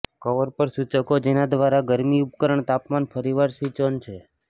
cover પર સૂચકો જેના દ્વારા ગરમી ઉપકરણ તાપમાન ફરીવાર સ્વિચ ઓન છે